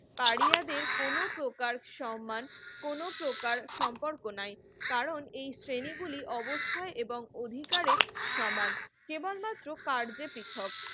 আরিয়াদের কোন প্রকার সম্মান কোন প্রকার সম্পর্ক নাই কারণ এই শ্রেণীগুলি অবস্থায় এবং অধিকারের সমান কেবলমাত্র কার্যের পৃথক